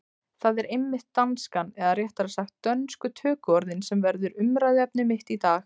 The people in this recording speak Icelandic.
Það er einmitt danskan, eða réttara sagt dönsku tökuorðin, sem verður umræðuefni mitt í dag.